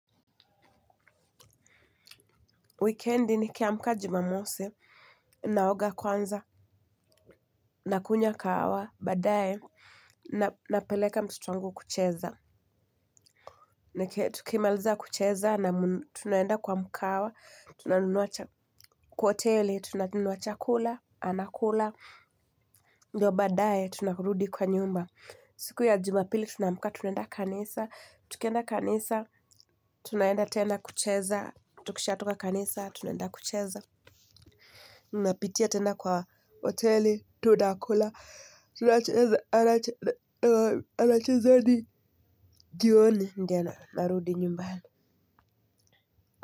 Weekend nikiamka jumamosi, naoga kwanza, nakunywa kahawa, badaye, napeleka mtoto wangu kucheza. Na tukimaliza kucheza, tunaenda kwa mkahawa, tunanuna cha kwa hoteli, tunanunua chakula, anakula, ndio baadaye, tunarudi kwa nyumba. Siku ya jumapili, tunaamka, tunaenda kanisa, tukienda kanisa, tunaenda tena kucheza, tukishatoka kanisa, tunaenda kucheza. Napitia tena kwa hoteli. Tunakula. Anacheza hadi jioni ndio anarudi nyumbani.